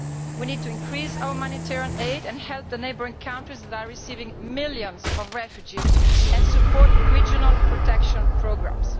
We need to increase humanitarian aid and help the neighbouring countries that are receiving millions of refugees, and support regional protection programmes.